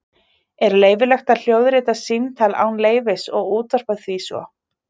Er leyfilegt að hljóðrita símtal án leyfis og útvarpa því svo?